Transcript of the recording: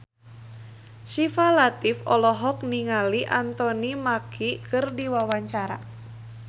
Syifa Latief olohok ningali Anthony Mackie keur diwawancara